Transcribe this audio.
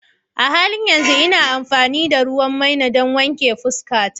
A halin yanzu ina amfani da ruwan maina don wanke fuskata.